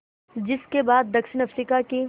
जिस के बाद दक्षिण अफ्रीका की